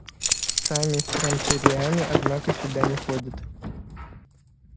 сами транториане однако сюда не ходят